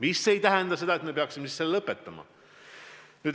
Aga see ei tähenda seda, et me peaksime siis selle lõpetama.